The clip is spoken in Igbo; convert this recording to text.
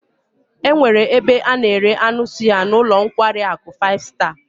E nwere ebe a na-ere anu suya n'ulo nkwari aku five star